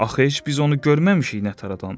Axı heç biz onu görməmişik nə tər adamdır?